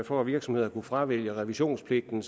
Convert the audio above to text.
for at virksomheder kunne fravælge revisionspligten